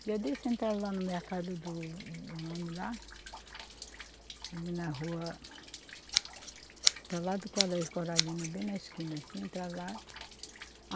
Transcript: Um dia desses, entraram lá no mercado do, de um homem lá, ali na rua, está ao lado do Colégio Coralina, bem na esquina assim, entraram lá.